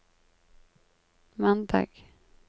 mandag